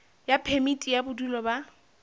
ya phemiti ya bodulo ba